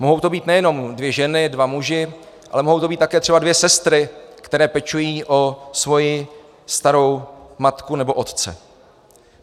Mohou to být nejenom dvě ženy, dva muži, ale mohou to být také třeba dvě sestry, které pečují o svoji starou matku nebo otce.